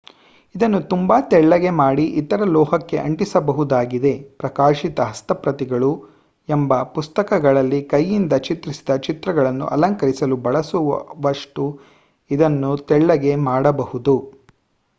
ಇದನ್ನು ತುಂಬಾ ತೆಳ್ಳಗೆ ಮಾಡಿ ಇತರ ಲೋಹಕ್ಕೆ ಅಂಟಿಸಬಹುದಾಗಿದೆ ಪ್ರಕಾಶಿತ ಹಸ್ತಪ್ರತಿಗಳು ಎಂಬ ಪುಸ್ತಕಗಳಲ್ಲಿ ಕೈಯಿಂದ ಚಿತ್ರಿಸಿದ ಚಿತ್ರಗಳನ್ನು ಅಲಂಕರಿಸಲು ಬಳಸವಷ್ಟು ಇದನ್ನು ತೆಳ್ಳಗೆ ಮಾಡಬಹುದು